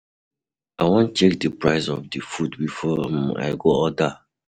I wan check di prices of di food before um I go order.